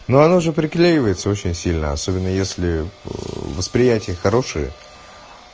но оно же приклеивается очень сильно особенно если восприятие хорошие